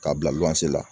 K'a bila goloze la